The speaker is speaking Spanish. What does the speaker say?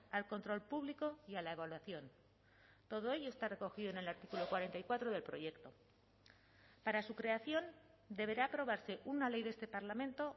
al control público y a la evaluación todo ello está recogido en el artículo cuarenta y cuatro del proyecto para su creación deberá aprobarse una ley de este parlamento